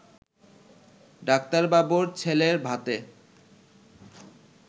ডাক্তারবাবুর ছেলের ভাতে